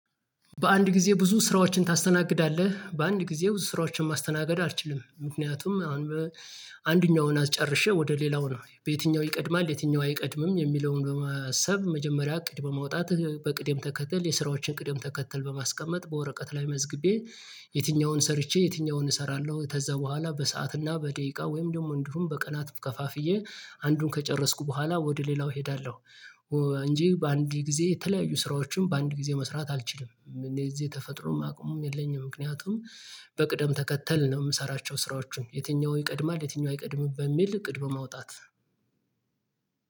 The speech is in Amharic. በአንድ ጊዜ ብዙ ስራዎችን ታስተናግዳለህ በአንድ ጊዜ ብዙ ስራዎችን ማስተናገድ አልችልም። ምክንያቱም አንደኛውን አስጨርሼ ወደ ሌላው ነው በየትኛው ይቀድማል የትኛው አይቀድምም የሚለውን በማሰብ መጀመሪያ እቅድ በማውጣት በቅደም ተከትል የስራዎችን ቅድም ተከተል በማስቀመጥ በወረቀት ላይ መዝግቤ የትኛውን ሰርቼ የትኛውን እሰራለሁ። ከዛ በኋላ በሰአት እና በደቂቃ ወይም ደግሞ እንዲሁም በቀናት ከፋፍዬ አንዱን ከጨረስኩ በኋላ ወደ ሌላው እሄዳለሁ። እንጂ በአንድ ጊዜ የተለያዩ ስራዎችን በአንድ ጊዜ መስራት አልችልም። እኔ እዚህ ተፈጥሮም አቅሙም የለኝም። ምክንያቱም በቅደም ተከተል ነው የምሰራቸው ስራዎችን የትኛው ይቀድማል የትኛው አይቀድምም በሚል እቅድ በማውጣት።